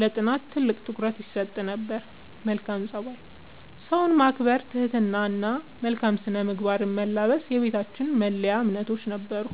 ለጥናት ትልቅ ትኩረት ይሰጥ ነበር። መልካም ፀባይ፦ ሰውን ማክበር፣ ትህትና እና መልካም ስነ-ምግባርን መላበስ የቤታችን መለያ እምነቶች ነበሩ።